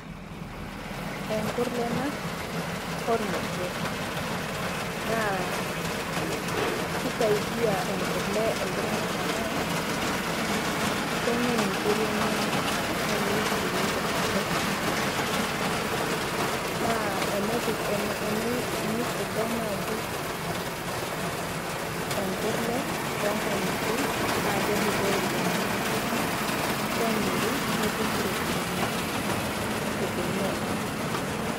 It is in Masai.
Enkurlee ena ilmosor naa kisaidia enkurlee iltunganak amu kenyai inkiri enyanak nemiri sii ilmosor lenyanak. Naa tenifugai naaji enkurlee toonkankitie naa kedupoyu iltunganak amu, kemiri netumi iropiyiani nitumiya naa inkulie.